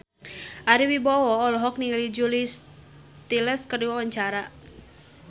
Ari Wibowo olohok ningali Julia Stiles keur diwawancara